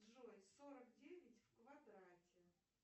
джой сорок девять в квадрате